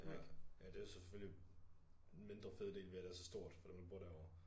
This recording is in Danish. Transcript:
Ja ja det jo så selvfølgelig en mindre fed del ved at det er så stort for dem der bor derovre